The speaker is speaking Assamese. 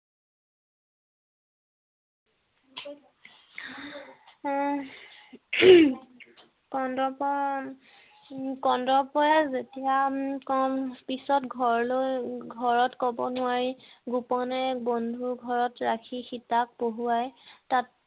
হম কন্দৰ্পৰ কন্দৰ্পই যেতিয়া খন পিছত ঘৰলৈ ঘৰত কৱ নোৱাৰি গোপনে বন্ধুৰ ঘৰত ৰাখি সীতাক পঢ়োৱায় তাত